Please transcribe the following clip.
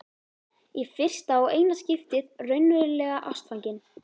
Í fyrsta og eina skiptið raunverulega ástfangin.